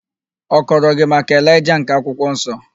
Ọ kọrọ gị maka Elaịja nke akwụkwọ nsọ?